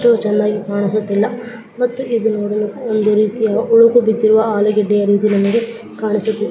ಅಷ್ಟು ಚೆನ್ನಾಗಿ ಕಾಣಿಸುತ್ತಿಲ್ಲ ಮತ್ತು ಇದು ನೋಡಲು ಒಂದು ರೀತಿಯ ಉಳಿದು ಬಿದ್ದಿರುವ ಆಲುಗಡ್ಡೆಯ ಕಾಣಿಸುತ್ತಿದೆ .